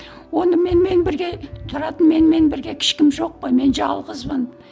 оны менімен бірге тұратын менімен бірге ешкім жоқ қой мен жалғызбын